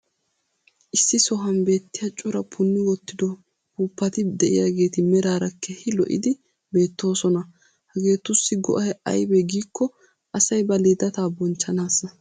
issi sohuwan beetiya cora punni wottido uppuuppati diyaageeti meraara keehi lo'iddi beetoosona. hageetussi go'ay aybee giikko asay ba lidetaa bonchchanaassa.